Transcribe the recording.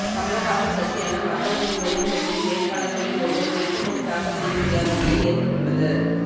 கமல்ஹாசன் கட்சியான மக்கள் நீதி மய்யம் கட்சியின் வேட்பாளர்களில் ஒருவர் வேட்புமனு தாக்கல் செய்ய முடியாத நிலை ஏற்பட்டுள்ளது